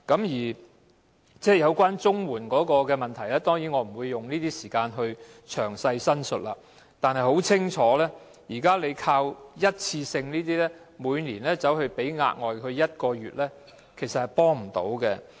有關綜援的問題，當然我不會在此詳細講述；但情況很清楚，現時透過一次性紓困措施，每年額外發放1個月綜援的做法，其實並不能提供幫助。